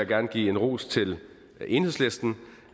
gerne give en ros til enhedslisten